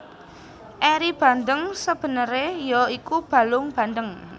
Eri bandeng sabeneré ya iku balung bandeng